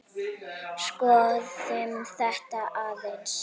Skoðum þetta aðeins.